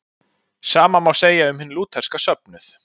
sama má segja um hinn lútherska söfnuð